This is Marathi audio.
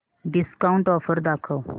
डिस्काऊंट ऑफर दाखव